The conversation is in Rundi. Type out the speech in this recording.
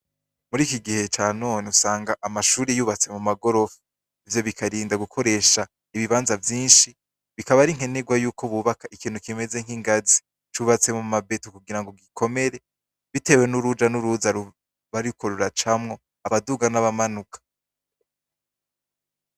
Muri iki gihe ca none usanga amashure yubatse mu magorofa ivyo bikarinda gukoresha ibibanza vyinshi bikaba ari nkenerwa ko bubaka ikintu kimeze nk'ingazi cubatse muma beto kugirango gikomere bitewe n'uruja n'uruza ruba ruriko ruracamwo abaduga n'abamanuka.